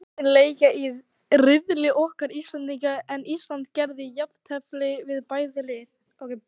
Liðin leika í riðli okkar Íslendinga, en Ísland gerði jafntefli við bæði lið.